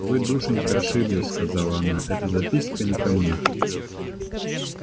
вы душенька ошиблись сказала она эта записка не ко мне